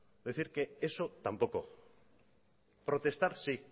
es decir que eso tampoco protestar sí